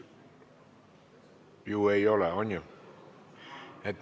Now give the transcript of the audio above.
On ju?